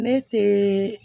Ne te